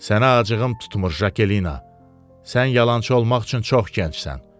Sənə acığım tutmur, Jakelina, sən yalançı olmaq üçün çox gəncsən.